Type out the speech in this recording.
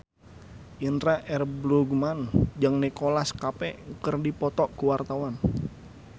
Indra L. Bruggman jeung Nicholas Cafe keur dipoto ku wartawan